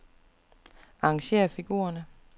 Arrangér figurerne.